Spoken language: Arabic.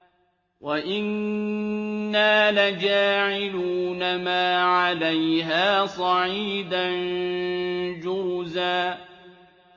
وَإِنَّا لَجَاعِلُونَ مَا عَلَيْهَا صَعِيدًا جُرُزًا